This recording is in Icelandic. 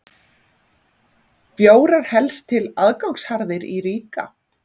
Bjórar helst til aðgangsharðir í Riga